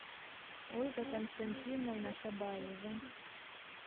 ольга константиновна шабаева